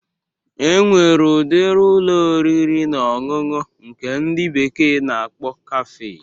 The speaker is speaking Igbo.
E nwere udiri Ụlọ oriri na ọṅụṅụ nke ndị bekee na-akpọ kafe